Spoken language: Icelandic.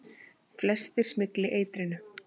Flestir smygli eitrinu.